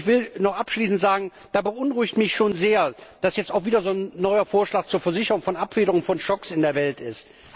Ich will noch abschließend sagen Es beunruhigt mich schon sehr, dass jetzt auch wieder so ein neuer Vorschlag zur Versicherung und Abfederung von Schocks in der Welt ist.